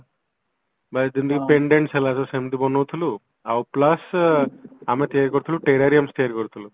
ଯେମିତିକି Pendants ହେଲା ଯଦି ସେମିତି ବନାଉଥିଲୁ ଆଉ plus ଆମେ ତିଆରି କରୁଥିଲୁ Terrarium ତିଆରି କରୁଥିଲୁ